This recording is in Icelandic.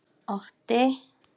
Otti